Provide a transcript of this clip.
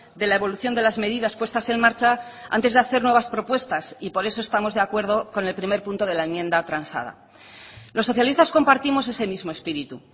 de la evolución de las medidas puestas en marcha antes de hacer nuevas propuestas y por eso estamos de acuerdo con el primer punto de la enmienda transada los socialistas compartimos ese mismo espíritu